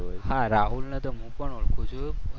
હા રાહુલને તો હું પણ ઓળખું છું.